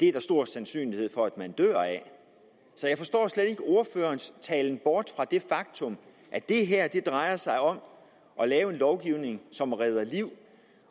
er stor sandsynlighed for at man dør af det så jeg forstår slet ikke ordførerens talen bort fra det faktum at det her drejer sig om at lave en lovgivning som redder liv